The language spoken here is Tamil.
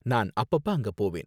நான் அப்பப்ப அங்க போவேன்.